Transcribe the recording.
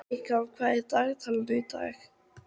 Eykam, hvað er í dagatalinu í dag?